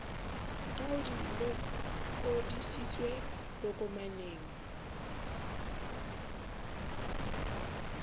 ka ha di lokodisitswe tokomaneng